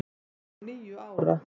ég er níu ára.